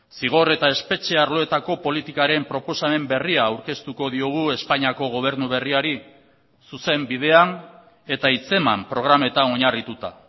zigor eta espetxe arloetako politikaren proposamen berria aurkeztuko diogu espainiako gobernu berriari zuzen bidean eta hitzeman programetan oinarrituta